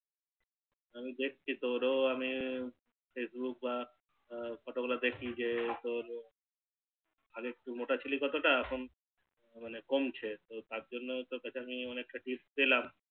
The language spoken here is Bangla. আমি দেখছি তোরো আমি Facebook বা Photo গুলো দেখলি যে তোর আগে একটু মোটা ছিলি কতটা এখন মানে কমছে তো তারজন্য আমি তোর কাছে অনেকটা Tips পেলাম